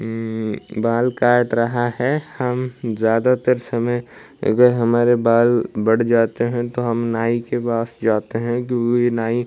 उम्म बाल काट रहा है हम ज्यादातर समय अगर हमारे बाल बढ़ जाते हैं तो हम नाई के पास जाते हैं कि ये नाई--